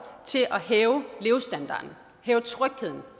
til at hæve levestandarden hæve trygheden